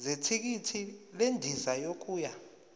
zethikithi lendiza yokuya